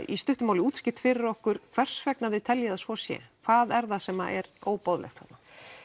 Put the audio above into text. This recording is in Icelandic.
í stuttu máli útskýrt fyrir okkur hvers vegna þið teljið að svo sé hvað er það sem er óboðlegt þarna